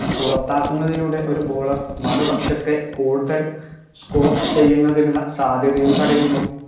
പുറത്താക്കുന്നതിലൂടെ ഒരു bowler മറുപക്ഷത്തെ കൂടുതൽ score ചെയ്യുന്നതിനുള്ള സാധ്യതയും തടയുന്നു